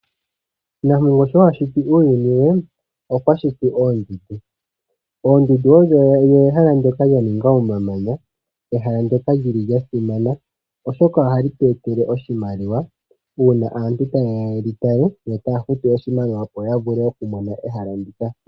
Nampongo sho a shiti uuyuni we okwa shiti oondundu. Oondundu odho ehala ndyoka lya ninga omamanya, ehala ndyoka li li lya simana oshoka ohali tu etele oshimaliwa uuna aantu ta ye ya ye li tale yo taya futu oshimaliwa opo ya vule oku mona ehala ndika.